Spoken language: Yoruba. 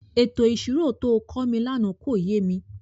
Ètò ìṣirò to kọ́ mi lánàá kò yé mi.